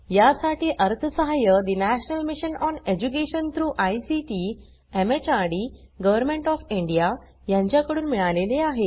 यासाठी अर्थसहाय्य national mission on education through ICT MHRD government of India यांच्याकडून मिळालेले आहे